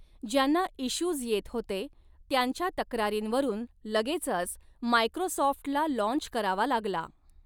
ज्यांना इश्यूज येत होते त्यांच्या तक्रारींवरुन लगेचच मायक्रोसॉफ्ट्ला लॉन्च करावा लागला.